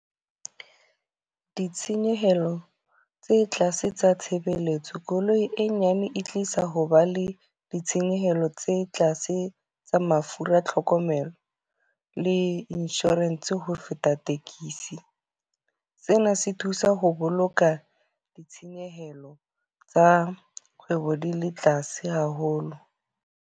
Ditshenyehelo tse tlase tsa tshebeletso. Koloi e nyane e tlisa ho ba le ditshenyehelo tse tlase tsa mafura, tlhokomelo le insurance ho feta tekesi. Sena se thusa ho boloka ditshenyehelo tsa kgwebo di le tlase haholo.